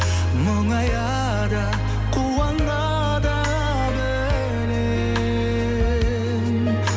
мұңая да қуана да білем